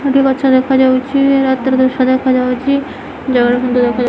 ଏଠି ଗଛ ଦେଖାଯାଉଛି ରାତିର ଦୃଶ୍ୟ ଦେଖାଯାଉଛି ।